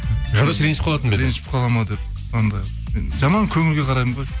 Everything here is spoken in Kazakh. ғадөш ренжіп қалатын ба еді ренжіп қалады ма деп жаман көңілге қараймын ғой